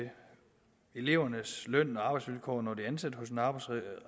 elevernes løn og arbejdsvilkår når de er ansat hos en arbejdsgiver er